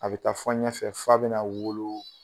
A bɛ taa fɔ ɲɛfɛ f'a bɛna wolo